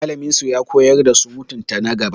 Mallamin su ya koyar da su mutunta na gaba.